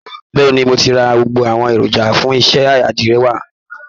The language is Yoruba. Bẹ́ẹ̀ ni, mo ti ra gbogbo àwọn èròjà fún iṣẹ́ àdìrẹ wa